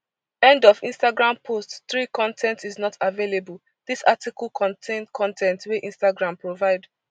end of instagram post three con ten t is not available dis article contain con ten t wey instagram provide